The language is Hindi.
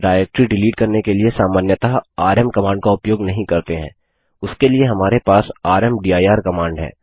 डाइरेक्टरी डिलीट करने के लिए सामान्यतः आरएम कमांड का उपयोग नहीं करते हैं उसके लिए हमारे पास रामदीर कमांड है